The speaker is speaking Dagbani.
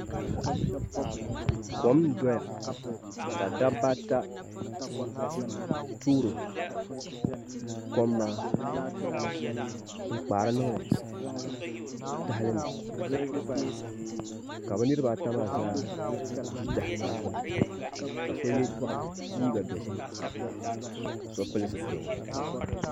Kom n doya ka dabba ata toori kom maa n kpaari niŋdi tahalini ka bi niraba ata maa zaa ʒi tahali maa gbuni ka so yɛ liiga dozim ka so pili zipiligu